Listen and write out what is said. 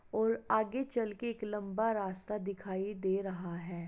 और आगे चल के एक लम्बा रास्ता दिखाई दे रहा है।